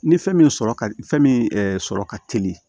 Ni fɛn min sɔrɔ ka fɛn min sɔrɔ ka teli